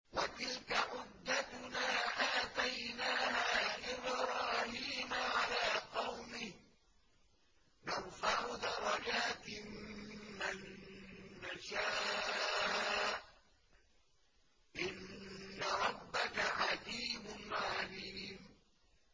وَتِلْكَ حُجَّتُنَا آتَيْنَاهَا إِبْرَاهِيمَ عَلَىٰ قَوْمِهِ ۚ نَرْفَعُ دَرَجَاتٍ مَّن نَّشَاءُ ۗ إِنَّ رَبَّكَ حَكِيمٌ عَلِيمٌ